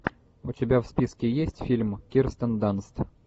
у тебя в списке есть фильм кирстен данст